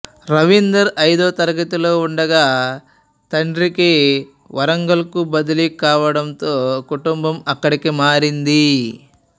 రవీందర్ ఐదో తరగతిలో ఉండగా తండ్రికి వరంగల్కు బదిలీ కావడంతో కుటుంబం అక్కడికి మారింది